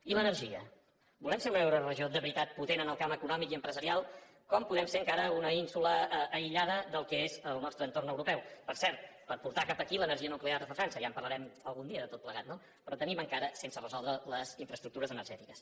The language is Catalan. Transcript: i l’energia volem ser una euroregió de veritat potent en el camp econòmic i empresarial com podem ser encara una ínsula aïllada del que és el nostre entorn europeu per cert per portar cap aquí l’energia nuclear des de frança ja en parlarem algun dia de tot plegat no però tenim encara sense resoldre les infraestructures energètiques